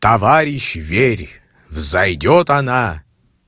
товарищ верь взойдёт она